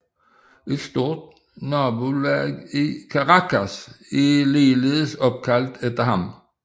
Et stort nabolag i Caracas er ligeledes opkaldt efter ham